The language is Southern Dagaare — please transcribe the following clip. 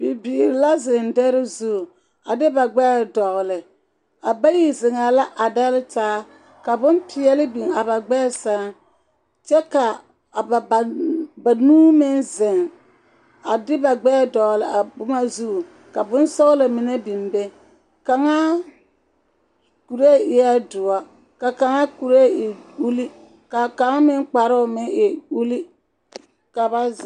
Bibiiri la zeŋ dɛre zu, a de ba gbɛre dɔgle, a bayi zeŋɛɛ la a dɛle taa, ka boŋ peɛle biŋ a ba gbɛɛ seŋ, kyɛ ka a ba banuu meŋ zeŋ a de ba gbɛɛ dɔgle a boma zu, ka boŋ sɔgla mine biŋ be, kaŋa kuree eɛ doɔ, ka kaŋa kuree e uli, ka kaŋa meŋ kparoo meŋ e uli ka ba zeŋ. 13378